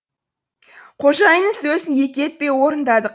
қожайынның сөзін екі етпей орындадық